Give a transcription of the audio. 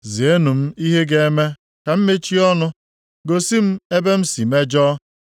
“Zienụ m ihe ga-eme ka m mechie ọnụ, gosi m ebe m si mejọọ.